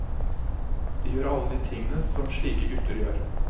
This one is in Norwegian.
De gjør alle de tingene som slike gutter gjør.